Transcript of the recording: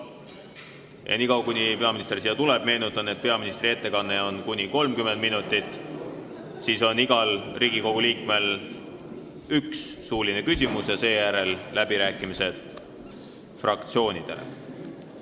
Enne kui peaminister pulti jõuab, meenutan teile, et peaministri ettekanne on kuni 30 minutit, siis on igal Riigikogu liikmel õigus esitada üks suuline küsimus ja seejärel on fraktsioonide läbirääkimised.